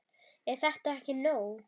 Er þetta ekki nóg?